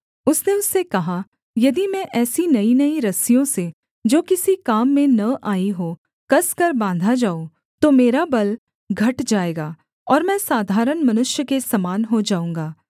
उसने उससे कहा यदि मैं ऐसी नईनई रस्सियों से जो किसी काम में न आईं हों कसकर बाँधा जाऊँ तो मेरा बल घट जाएगा और मैं साधारण मनुष्य के समान हो जाऊँगा